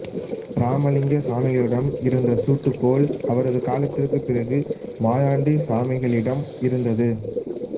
ராமலிங்க சாமிகளிடம் இருந்த சூட்டுக்கோல் அவரது காலத்திற்கு பிறகு மாயாண்டி சாமிகளிடம் இருந்தது